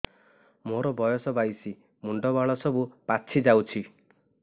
ମୋର ବୟସ ବାଇଶି ମୁଣ୍ଡ ବାଳ ସବୁ ପାଛି ଯାଉଛି